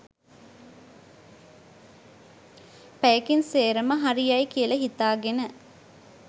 පැයකින් සේරම හරි යයි කියලා හිතාගෙන.